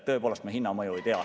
Tõepoolest, me hinna mõju ei tea.